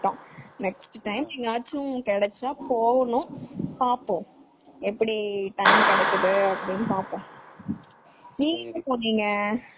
Next time எங்கையாச்சு கிடைச்சா போகனும் பாப்போம் எப்படி time கிடைக்குது அப்படினு பாப்போம் .நீங்க எங்க போன்னிங்க?